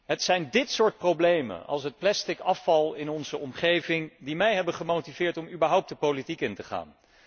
Het zijn dit soort problemen, zoals het plastic afval in onze omgeving, die mij hebben gemotiveerd om überhaupt de politiek in te gaan.